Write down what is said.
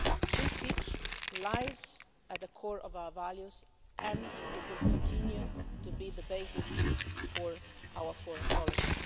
Free speech lies at the core of our values and it will continue to be the basis for our foreign policy.